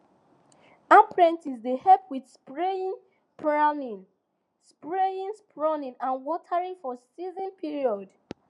apprentices dey help with spraying pruning spraying pruning and watering for season period